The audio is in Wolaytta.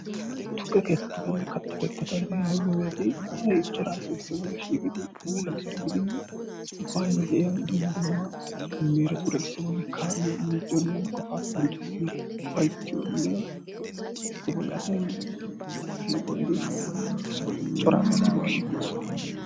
tukke keettatanne katta keettata giyoogeeti asay cora asay issibolla shiiqidi ba laggiyaara gididi baayyo de'iyaa dumma dummaa miiretuura issi bolli kaa'iyoo miicciyoonne qofaa qonccissiyoo ufayittiyoonne issi bolli asay siiqo gidi cora asay issi bolli shiiqiyoo sohuwaa.